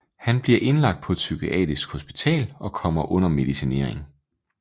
Han bliver indlagt på et psykiatrisk hospital og kommer under medicinering